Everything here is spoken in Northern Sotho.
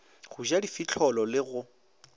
go ja difihlolo le go